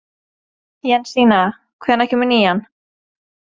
Jensína, hvenær kemur nían?